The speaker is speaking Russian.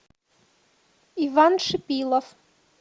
иван шипилов